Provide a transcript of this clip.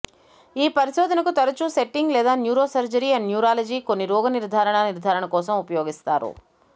ఈ పరిశోధనకు తరచూ సెట్టింగ్ లేదా న్యూరోసర్జరీ అండ్ న్యూరాలజీ కొన్ని రోగనిర్ధారణ నిర్ధారణ కోసం ఉపయోగిస్తారు